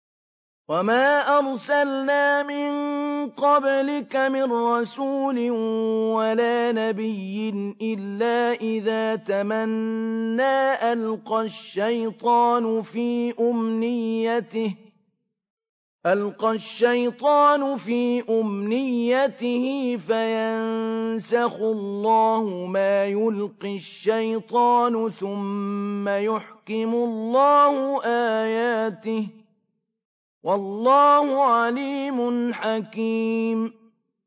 وَمَا أَرْسَلْنَا مِن قَبْلِكَ مِن رَّسُولٍ وَلَا نَبِيٍّ إِلَّا إِذَا تَمَنَّىٰ أَلْقَى الشَّيْطَانُ فِي أُمْنِيَّتِهِ فَيَنسَخُ اللَّهُ مَا يُلْقِي الشَّيْطَانُ ثُمَّ يُحْكِمُ اللَّهُ آيَاتِهِ ۗ وَاللَّهُ عَلِيمٌ حَكِيمٌ